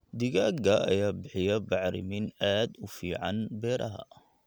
Digaagga ayaa bixiya bacrimin aad u fiican beeraha.